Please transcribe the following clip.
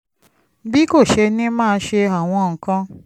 bí kò ṣe ní máa ṣe àwọn nǹkan